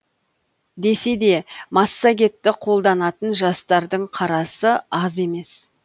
десе де массагетті қолданатын жастардың қарасы аз емес